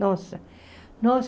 Nossa, nossa.